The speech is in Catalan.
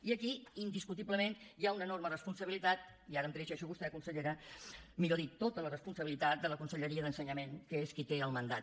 i aquí indiscutiblement hi ha una enorme responsabilitat i ara em dirigeixo a vostè consellera millor dit tota la responsabilitat de la conselleria d’ensenyament que és qui en té el mandat